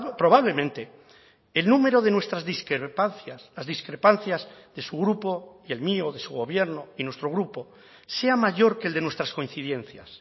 probablemente el número de nuestras discrepancias las discrepancias de su grupo y el mío de su gobierno y nuestro grupo sea mayor que el de nuestras coincidencias